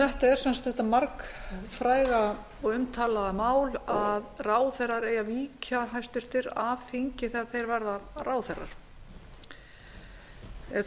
þetta er sem sagt þetta margfræga og umtalaða mál að hæstvirtir ráðherrar eigi að víkja af þingi þegar þeir verða ráðherrar þó